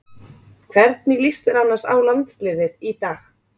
Hvernig lýst þér annars á landsliðið í dag?